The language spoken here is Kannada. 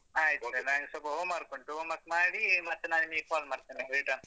ಆಯ್ತು sir ನಾನಿನ್ನು ಸ್ವಲ್ಪ home work ಉಂಟು home work ಮಾಡಿ ಮತ್ತೆ ನಾನ್ ನಿಮ್ಗೆ phone ಮಾಡ್ತೇನೆ return .